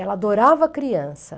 Ela adorava criança.